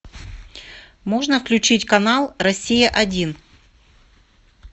можно включить канал россия один